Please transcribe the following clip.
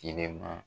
Kilen ma